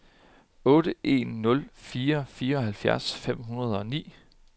otte en nul fire fireoghalvtreds fem hundrede og ni